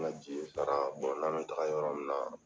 An ka Dj taara n'an bɛ taga yɔrɔ min na